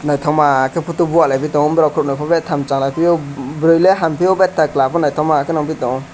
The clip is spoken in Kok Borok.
naithokma khe photo bua laipitongo borok kunui khe betham chalaipio burui le hampio betta kla bo naithoma khe nukphitongo.